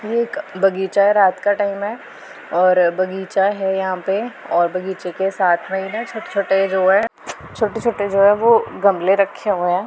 ये एक बगीचा है रात का टाइम है और बगीचा है यहां पे और बगीचे के साथ में ही छोटे-छोटे जो है छोटे-छोटे जो है गमले रखे हुए है।